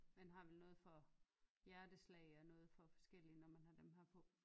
Man har vel noget for hjerteslag og noget for forskelligt når man har dem her på